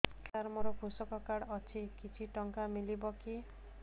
ସାର ମୋର୍ କୃଷକ କାର୍ଡ ଅଛି କିଛି ଟଙ୍କା ମିଳିବ କି